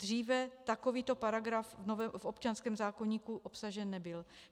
Dříve takovýto paragraf v občanském zákoníku obsažen nebyl.